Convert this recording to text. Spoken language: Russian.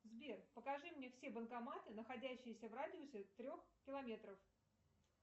сбер покажи мне все банкоматы находящиеся в радиусе трех километров